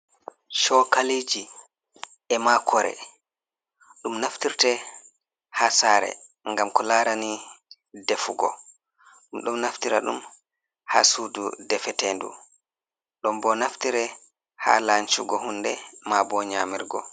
Chokaliji, e ma kore, dum naftirte ha sare ngam ko larani defugo. Ɗum don naftira dum, ha sudu defetendu, ɗon bo naftire, ha lancugo hunde ma bo nyamirgo.